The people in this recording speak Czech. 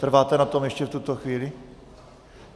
Trváte na tom ještě v tuto chvíli?